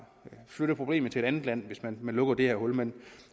flytte problemet til et andet land hvis man lukker det her hul men